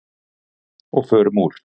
Og förum úr.